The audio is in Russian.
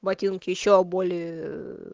ботинки ещё более ээ